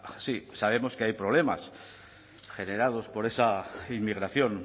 está así sabemos que hay problemas generados por esa inmigración